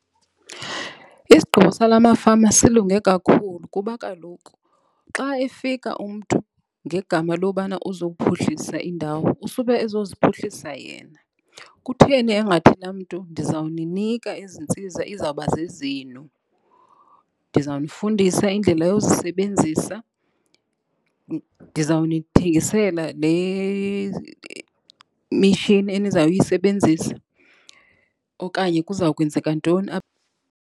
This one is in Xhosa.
Isigqibo sala mafama silunge kakhulu kuba kaloku xa efika umntu ngegama lobana uzowuphuhlisa indawo usube ezoziphuhlisa yena. Kutheni engathi laa mntu ndizawuninika, ezi ntsiza izawuba zezenu, ndizawunifundisa indlela yozisebenzisa, ndizawunithengisela le mishini eniza kuyisebenzisa okanye kuza kwenzeka ntoni apha.